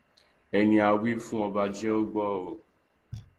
ẹni a wí fún ọba jẹ ó gbọ